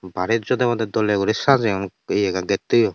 barey jodobodey doley guri sajeyon aye gettoyot.